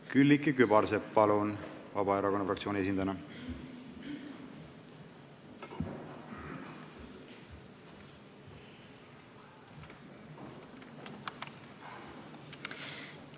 Külliki Kübarsepp, palun Vabaerakonna fraktsiooni esindajana!